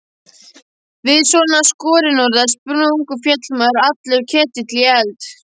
Við svona skorinorða spurningu féll mér allur ketill í eld.